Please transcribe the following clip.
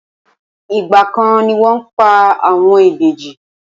Igba kan ni wọn pa àwọn ìbejì.